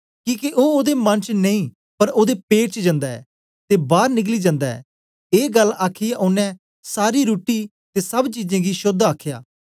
किके ओ ओदे मन च नेई पर ओदे पेट च जन्दा ऐ ते बार निकली जन्दा ऐ ए गल्ल आखीयै ओनें सारी रुट्टी ते सब चीजे गी शोद्ध आखया